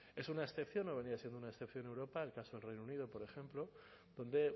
es una excepción o venía siendo una excepción europa el caso del reino unido por ejemplo donde